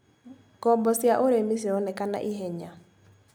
Ngombo cia ũrĩmi cironekana ihenya.